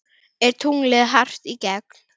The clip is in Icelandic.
Er tunglið hart í gegn?